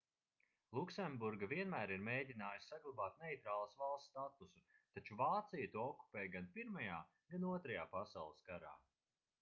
luksemburga vienmēr ir mēģinājusi saglabāt neitrālas valsts statusu taču vācija to okupēja gan pirmajā gan otrajā pasaules karā